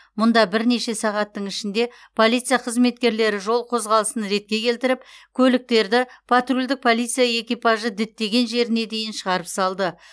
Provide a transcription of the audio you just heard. мұнда бірнеше сағаттың ішінде полиция қызметкерлері жол қозғалысын ретке келтіріп көліктерді патрульдік полиция экипажы діттеген жеріне дейін шығарып салды